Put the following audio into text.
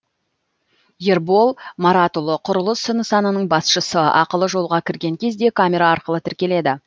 ербол маратұлы құрылыс нысанының басшысы ақылы жолға кірген кезде камера арқылы тіркеледі